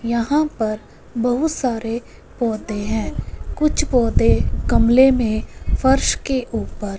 यहां पर बहुत सारे पौधे हैं कुछ पौधे गमले में फर्श के ऊपर--